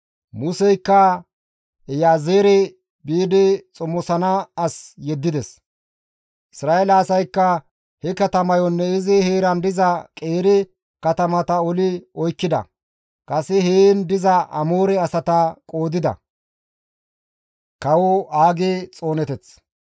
Museykka Iyaazeere biidi xomosana as yeddides; Isra7eele asaykka he katamayonne izi heeran diza qeeri katamata oli oykkida; kase heen diza Amoore asata gooddida.